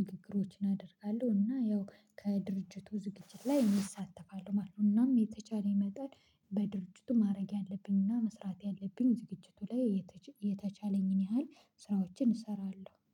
ንግግሮችን አደርጋለሁ እና ያው ከድርጅቱ ዝግጅት ላይ እሳተፋለው ማለት ነው። እናም የተቻለኝ መጠን በድርጅቱ ማድረግ ያለብኝ እና መስራት ያለብኝ ዝግጅቱ ላይ የተቻለኝን ያህል ስራዎችን እሰራለሁ